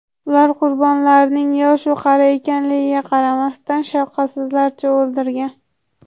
Ular qurbonlarining yosh-u qari ekanligiga qaramasdan shafqatsizlarcha o‘ldirgan.